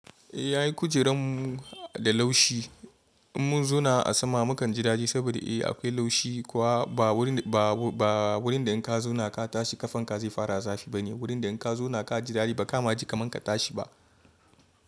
Eh, ai kujeran mu da laushi. In mun zauna a sama, mukan ji daji saboda eh akwai laushi kuwa ba wurin da in ka zauna ka tashi ƙafanka zai fara zafi bane. Wurin da in ka zauna ka ji daji ba ka ma ji kaman ka tashi ba.